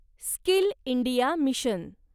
skill India mission